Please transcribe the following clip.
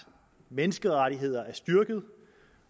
at menneskerettighederne er styrket